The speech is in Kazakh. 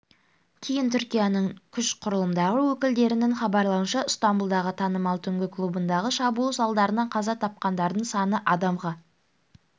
кейін түркияның күш құрылымдары өкілдерінің хабарлауынша стамбұлдағы танымал түнгі клубындағы шабуыл салдарынан қаза тапқандардың саны адамға